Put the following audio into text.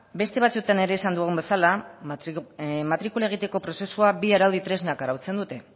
beste batzuetan ere esan dugun bezala matrikula egiteko prozesua bi araudi tresnak arautzen dute